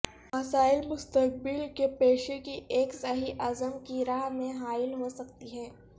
مسائل مستقبل کے پیشے کی ایک صحیح عزم کی راہ میں حائل ہو سکتی ہے